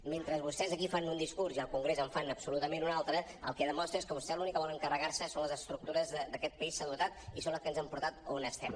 mentre vostès aquí fan un discurs i al congrés en fan absolutament un altre el que demostra és que vostès l’únic que volen carregar se són les estructures de les quals aquest país s’ha dotat i són les que ens ha portat on estem